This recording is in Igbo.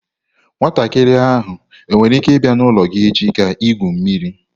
Nwatakiri ahụ nwere ike ịbịa n'ụlọ gị echi ka igwu mmiri?